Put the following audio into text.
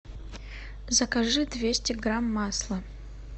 закажи двести грамм масла